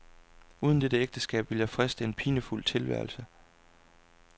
Uden dette ægteskab ville jeg friste en pinefuld tilværelse.